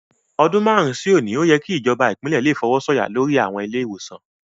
Ọdún márùn-ún sí òní, ó yẹ kí ìjọba Ìpínlẹ̀ le fọwọ́ sọ̀yà lori àwọn ilé-ìwòsàn